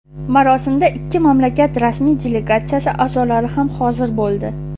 Marosimda ikki mamlakat rasmiy delegatsiyasi a’zolari ham hozir bo‘ldi.